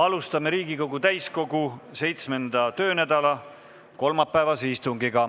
Alustame Riigikogu täiskogu 7. töönädala kolmapäevast istungit.